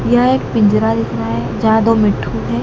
यह पिंजरा दिख रहा है ज्यादा मिट्ठू है।